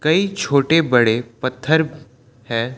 कई छोटे बड़े पत्थर है।